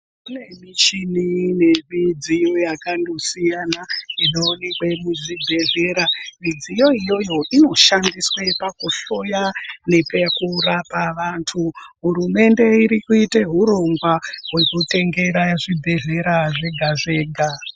Kune michini nemidziyo yakando siyana inowanikwe muzvibhedhlera. Midziyo iyoyo inoshandiswe pakuhloya nepakurapa vantu. Hurumende irikuite hurongwa hwekutengera zvibhedhlera zvega-zvega.